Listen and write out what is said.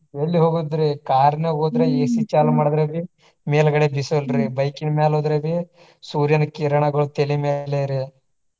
ಎಲ್ಲಿ ಹೋಗೋದ್ರಿ car ನ್ಯಾಗ ಹೋದ್ರ AC ಚಾಲೂ ಮಾಡಿದ್ರ ರಿ ಮೇಲಗಡೆ ಬಿಸಲ್ರಿ bike ನ ಮ್ಯಾಲ ಹೋದ್ರ ರಿ ಸೂರ್ಯನ ಕಿರಣಗೊಳ ತಲಿ ಮ್ಯಾಲೆರಿ.